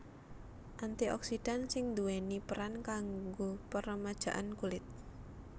Anti oksidan sing nduwèni peran kanggo peremajaan kulit